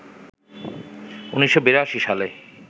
১৯৮২ সালে